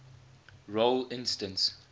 role instance